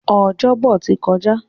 Ọjọ́bọ̀ ti kọjá.